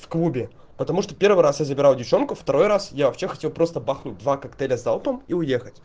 в клубе потому что первый раз я забираю девчонку второй раз я вообще хотел просто бахнуть два коктейля залпом и уехать